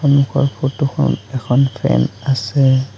সন্মুখৰ ফটোখনত এখন ফেন আছে।